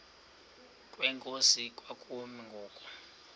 kwenkosi kwakumi ngoku